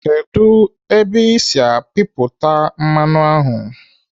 Kedụ ebe ị si apapụta mmanụ ahụ?